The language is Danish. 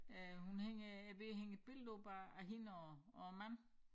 Øh hun hænger er ved at hænge et billede op af af hende og og æ mand